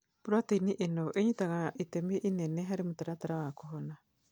Proteini ino ĩnyitaga itemi inene harĩ mũtaratara wa kũhona